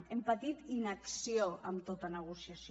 hem patit inacció en tota negociació